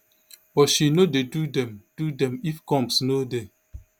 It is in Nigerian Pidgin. but she no dey do dem do dem if combs no dey